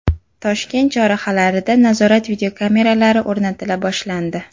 Toshkent chorrahalarida nazorat videokameralari o‘rnatila boshlandi.